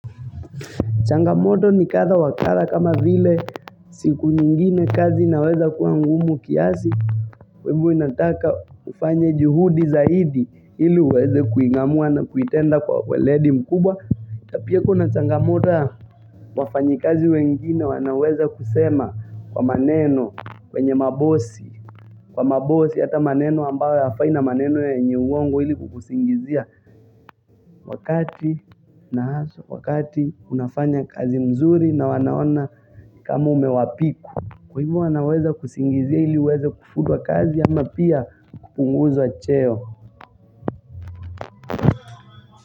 Changamoto ni kadha wa kadha kama vile siku nyingine kazi inaweza kuwa ngumu kiasi kwa ivo inataka ufanye juhudi zaidi ili uweze kuingamua na kuitenda kwa waledi mkubwa na pia kuna changamoto wafanyikazi wengine wanaweza kusema kwa maneno kwenye mabosi Kwa mabosi hata maneno ambayo hayafai na maneno yenye uongo ili kukusingizia Wakati na haswa wakati unafanya kazi mzuri na wanaona kama umewapiku Kwa hivo wanaweza kusingizia ili uweze kufutwa kazi ama pia kupunguzwa cheo.